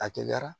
A teliyara